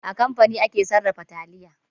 A kamfani ake sarrafa taliya.